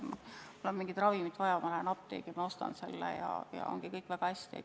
Mul on mingit ravimit vaja, ma lähen apteeki ja ostan selle ja ongi kõik väga hästi.